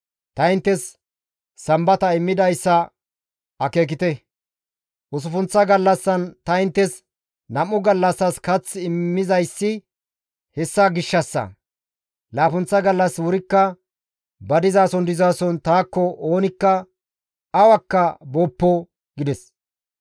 Ta inttes Sambata immidayssa akeekite; usuppunththa gallassan ta inttes nam7u gallassas kath immizayssi hessa gishshassa. Laappunththa gallas wurikka ba dizason dizason taakko; oonikka awakka booppo» gides.